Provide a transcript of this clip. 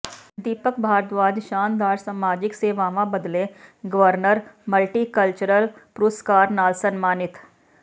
ਦੀਪਕ ਭਾਰਦਵਾਜ ਸ਼ਾਨਦਾਰ ਸਮਾਜਿਕ ਸੇਵਾਵਾਂ ਬਦਲੇ ਗਵਰਨਰ ਮਲਟੀਕਲਚਰਲ ਪੁਰਸਕਾਰ ਨਾਲ ਸਨਮਾਨਿਤ